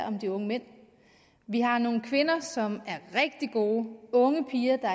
om de unge mænd vi har nogle kvinder som er rigtig gode unge piger der